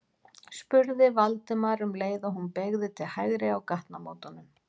spurði Valdimar um leið og hún beygði til hægri á gatnamótunum.